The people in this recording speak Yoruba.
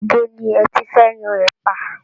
Ibo ni ẹ ti fẹ́ yan ẹ̀pà?